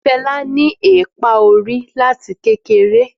Fẹmi ní eepa orí láti kékeré